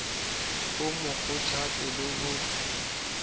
o mo kgothatse le ho